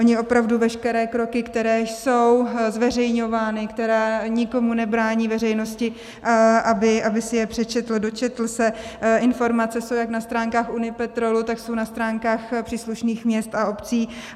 Oni opravdu veškeré kroky, které jsou zveřejňovány, které nikomu nebrání, veřejnosti, aby si je přečetl, dočetl se informace, jsou jak na stránkách Unipetrolu, tak jsou na stránkách příslušných měst a obcí.